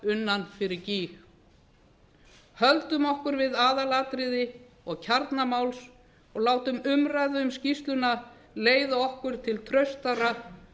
unna fyrir gýg höldum okkur við aðalatriði og kjarna máls og látum umræðu um skýrsluna leiða okkur til traustara